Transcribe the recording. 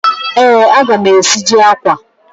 Ee, aga m esiji akwa.